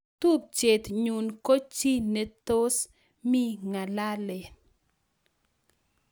Tupchet nyun ko chi nebtos me ngalalen.